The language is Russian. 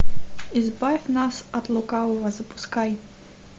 избавь нас от лукавого запускай